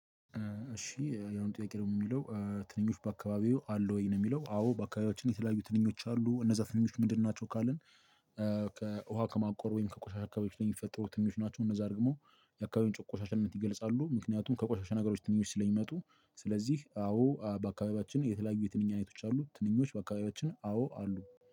እሺ ያሁኑ ጥያቄ ደሞ የሚለው ትንኞች በአካባቢዎ አሉ ወይ ነው? የሚለው አዎ በአካባቢዎች የተለያዩ ትንኞች አሉ እነዛ ትንኞች ምንድን ናቸው ካልን? ከውሃ ከማቆር ወይም ከቆሻሻ አካባቢዎች የሚፈጠሩ ትንኞች ናቸው። እነዛ ደግሞ የአካባቢውን ቆሻሻነት ይገልጻሉ ምክንያቱም ከቆሻሻ ነገሮች ትንኞች ስለሚመጡ። ስለዚህ አዎ በአካባቢያችን የተለያዩ የትንኝ አይነቶች አሉ። ትንኞች በአካባቢያችን አዎ አሉ።